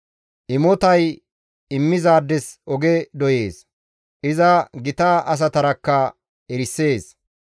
Imotay immizaades oge doyees; iza gita asatarakka erisees.